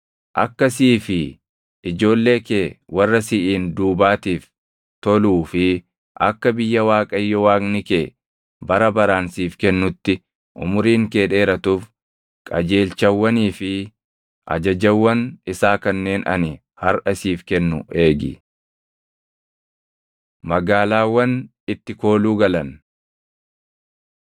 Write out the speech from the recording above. Akka sii fi ijoollee kee warra siʼiin duubaatiif toluu fi akka biyya Waaqayyo Waaqni kee bara baraan siif kennutti umuriin kee dheeratuuf qajeelchawwanii fi ajajawwan isaa kanneen ani harʼa siif kennu eegi. Magaalaawwan Itti Kooluu Galan 4:41‑43 kwi – Lak 35:6‑34; KeD 19:1‑14; Iya 20:1‑9